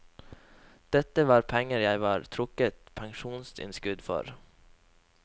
Dette var penger jeg var trukket pensjonsinnskudd for.